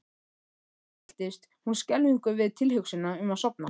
Samt fylltist hún skelfingu við tilhugsunina um að sofna.